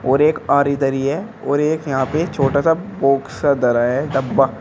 और एक आरी धरी है और एक यहां पे छोटा सा बॉक्स धरा है डब्बा।